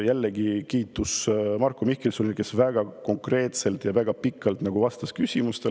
Jällegi, kiitus Marko Mihkelsonile, kes väga konkreetselt ja väga pikalt vastas küsimustele.